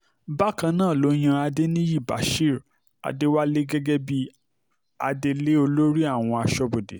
bákan náà ló yan adẹniyí bashir adéwálé gẹ́gẹ́ bíi adelé olórí àwọn aṣọ́bodè